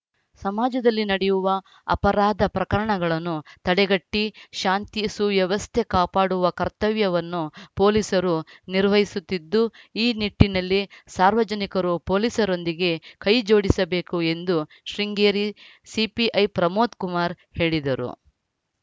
ಸಮಾಜದಲ್ಲಿ ನಡೆಯುವ ಅಪರಾಧ ಪ್ರಕರಣಗಳನ್ನು ತಡೆಗಟ್ಟಿಶಾಂತಿ ಸುವ್ಯವಸ್ಥೆ ಕಾಪಾಡುವ ಕರ್ತವ್ಯವನ್ನು ಪೊಲೀಸರು ನಿರ್ವಹಿಸುತ್ತಿದ್ದು ಈ ನಿಟ್ಟಿನಲ್ಲಿ ಸಾರ್ವಜನಿಕರು ಪೊಲೀಸರೊಂದಿಗೆ ಕೈ ಜೋಡಿಸಬೇಕು ಎಂದು ಶೃಂಗೇರಿ ಸಿಪಿಐ ಪ್ರಮೋದ್‌ ಕುಮಾರ್‌ ಹೇಳಿದರು